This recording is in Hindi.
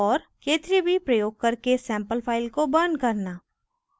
* k3b प्रयोग करके sample file को burn करना